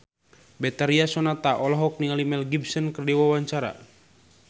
Betharia Sonata olohok ningali Mel Gibson keur diwawancara